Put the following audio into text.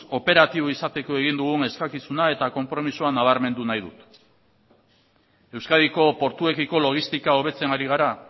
operatiboa izateko egin dugun eskakizuna eta konpromisoa nabarmendu nahi dut euskadiko portuekiko logistika hobetzen ari gara